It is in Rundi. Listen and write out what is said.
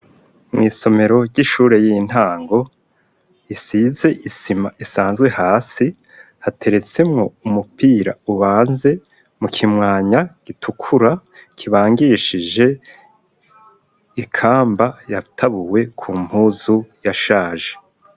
Mw'isomero ry'ishure y'intango, risize isima isanzwe hasi, hateretsemwo umupira ubanze mu kimwanya gitukura, kibangishije ikamba yatabuwe ku mpuzu yashaje.